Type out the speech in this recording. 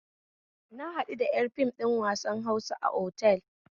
Na haɗu da ƴar wasan fim ɗin Hausa a otel